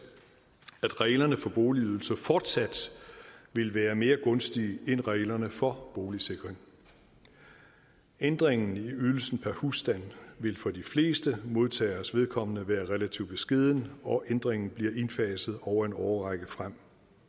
at reglerne for boligydelse fortsat vil være mere gunstige end reglerne for boligsikring ændringen i ydelsen per husstand vil for de fleste modtageres vedkommende være relativt beskeden og ændringen bliver indfaset over en årrække frem